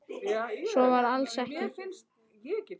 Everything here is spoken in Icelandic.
Svo var alls ekki.